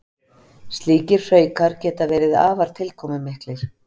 Slíkir hraukar geta verið afar tilkomumiklir.